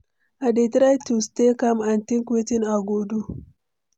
i dey try to stay calm and think wetin i go do.